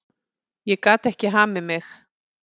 Ég gat ekki hamið mig.